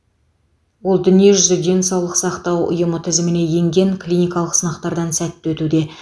ол дүниежүзілік денсаулық сақтау ұйымы тізіміне енген клиникалық сынақтардан сәтті өтуде